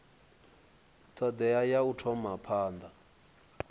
thodea ya u thoma phanda